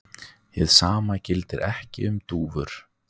Hið sama gildir ekki um dúfur.